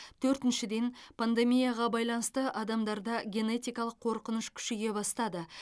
төртіншіден пандемияға байланысты адамдарда генетикалық қорқыныш күшейе бастады